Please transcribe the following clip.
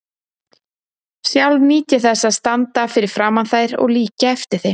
Sjálf nýt ég þess að standa fyrir framan þær og líkja eftir þeim.